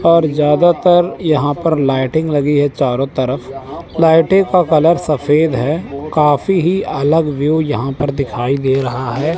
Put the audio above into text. और ज्यादातर यहां पर लाइटिंग लगी है चारों तरफ लाइटें का कलर सफेद है काफी ही अलग व्यू यहां पर दिखाई दे रहा है।